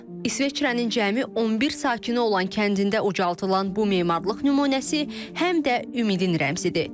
İsveçrənin cəmi 11 sakini olan kəndində ucaldılan bu memarlıq nümunəsi həm də ümidin rəmzidir.